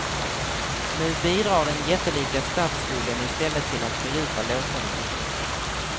Nu bidrar den jättelika statsskulden i stället till att fördjupa lågkonjunkturen.